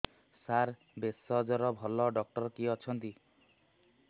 ସାର ଭେଷଜର ଭଲ ଡକ୍ଟର କିଏ ଅଛନ୍ତି